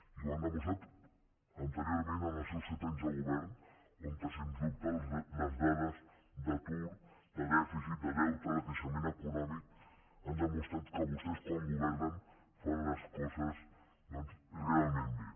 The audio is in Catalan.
i ho han demostrat anteriorment en els seus set anys de govern on sens dubte les dades d’atur de dèficit de deute de creixement econòmic han demostrat que vostès quan governen fan les coses doncs realment bé